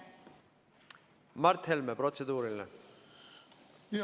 Mart Helme, protseduuriline.